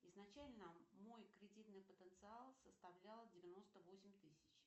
изначально мой кредитный потенциал составлял девяносто восемь тысяч